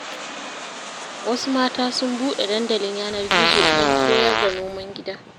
Wasu mata sun buɗe dandalin yanar-gizo, don koyar da noman gida.